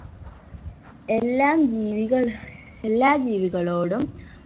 എല്ലാം ജീവികൾ എല്ലാ ജീവികളോടും